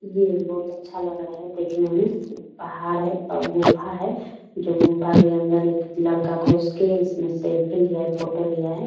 ये बहुत अच्छा लग रहा है देखने में पहाड़ है ब गुफा है जो गुफा के अंदर एक लड़का घुस के इसमें सेल्फी लिया फोटो लिया है।